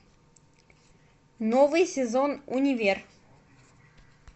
новый сезон универ